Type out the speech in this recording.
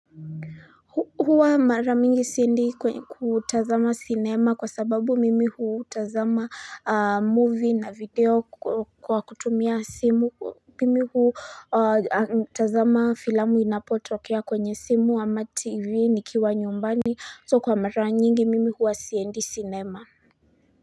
Huwa mara mingi siendi kwa utazama sinema kwa sababu mimi huu huutazama movie na video kwa kutumia simu mimi huu utazama filmu inapotokea kwenye simu ama tv nikiwa nyumbani So kwa mara nyingi mimi huu wasiendi sinema.